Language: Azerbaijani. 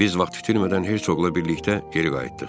Biz vaxt itirmədən Hersoqla birlikdə geri qayıtdıq.